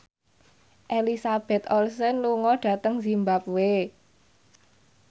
Elizabeth Olsen lunga dhateng zimbabwe